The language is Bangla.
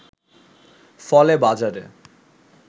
ফলে বাজারে